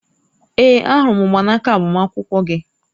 Ee, ahụrụ m mgbanaka agbamakwụkwọ gị